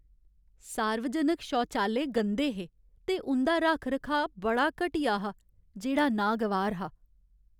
सार्वजनक शौचालय गंदे हे ते उं'दा रक्ख रखाऽ बड़ा घटिया हा, जेह्ड़ा नागवार हा।